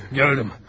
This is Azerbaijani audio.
Gördüm.